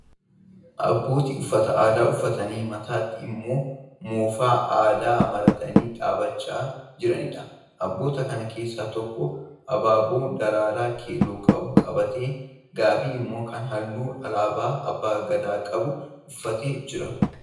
Abbootii uffata aadaa uffatanii mataatti immoo moofaa aadaa maratanii dhaabbachaa jiranidha. Abboota kana keessaa tokko abaaboo daraaraa keelloo qabu qabatee, gaabii immoo kan halluu alaabaa abbaa Gadaa qabu uffatee jira.